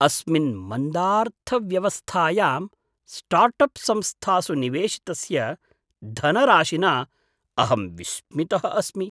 अस्मिन् मन्दार्थव्यवस्थायां start up संस्थासु निवेशितस्य धनराशिना अहं विस्मितः अस्मि।